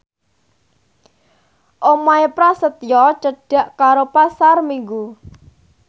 omahe Prasetyo cedhak karo Pasar Minggu